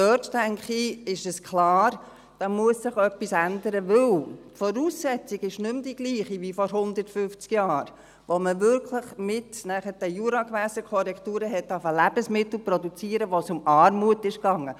Ich denke, dort ist klar, dass sich etwas ändern muss, weil die Voraussetzungen nicht mehr dieselben ist wie vor 150 Jahren, als man wirklich mit den Juragewässerkorrekturen anfing Lebensmittel zu produzieren, als es um Armut ging.